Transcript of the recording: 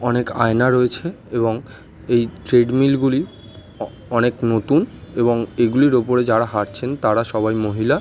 অনেক আয়না রয়েছে এবং এই ট্রেডমিল -গুলি অ- অনেক নতুন এবং এগুলির ওপরে যারা হাঁটছেন তারা সবাই মহিলা।